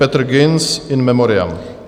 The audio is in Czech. Petr Ginz, in memoriam.